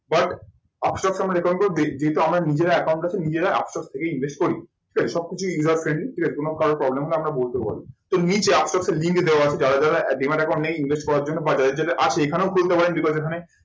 But আপ স্টককে আমরা recommend করবো যেহেতু আমার নিজের account আছে নিজেরা আপ স্টক থেকে invest করি। ঠিক আছে সব কিছুই user training ঠিক আছে কোনো কারো problem হলে আমরা বলতে পারবো। এর নীচে আপ স্টক এর link দেওয়া যাচ্ছে যারা demat account নেই invest করার জন্য বা যাদের যাদের কাছে এখানেও খুলতে পারেন because এখানে